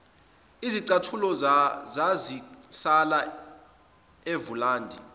izicathulo zazisala evulandi